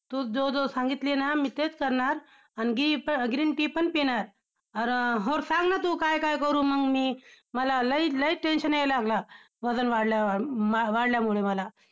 तू जे जे सांगितली ना, मी तेच करणार आणखी green tea पण पिणार, आणि~ और सांग ना तू काय काय करू मंग मी मला लय लय tension यायला लागलं वजन वाढल्यावर, वाढल्यामुळे मला.